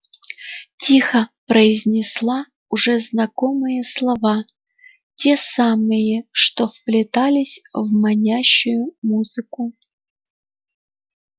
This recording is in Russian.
тихо произнесла уже знакомые слова те самые что вплетались в манящую музыку